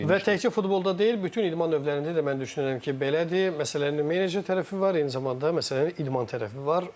Və təkcə futbolda deyil, bütün idman növlərində də mən düşünürəm ki, belədir, məsələnin menecer tərəfi var, eyni zamanda məsələnin idman tərəfi var.